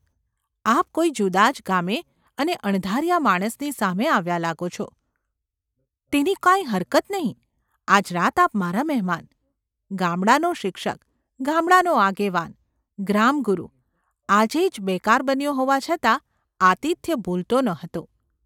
આપ કોઈ જુદા જ ગામે અને અણધાર્યા માણસની સામે આવ્યાં લાગો છો – તેની કાંઈ હરકત નહિ, આજ રાત આપ મારાં મહેમાન !’ ગામડાનો શિક્ષક, ગામડાનો આગેવાન, ગ્રામગુરુ આજે જ બેકાર બન્યો હોવા છતાં આતિથ્ય ભૂલતો ન હતો.